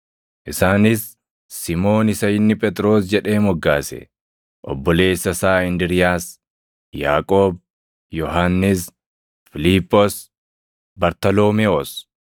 Isaanis Simoon isa inni Phexros jedhee moggaase, obboleessa isaa Indiriiyaas, Yaaqoob, Yohannis, Fiiliphoos, Bartaloomewoos,